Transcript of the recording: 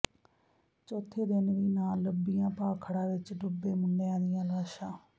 ਚੌਥੇ ਦਿਨ ਵੀ ਨਾ ਲੱਭੀਆਂ ਭਾਖੜਾ ਵਿੱਚ ਡੁੱਬੇ ਮੁੰਡਿਆਂ ਦੀਆਂ ਲਾਸ਼ਾਂ